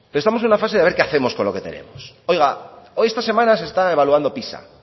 pero estamos en una fase de haber qué hacemos con lo que tenemos oiga esta semana se está evaluando pisa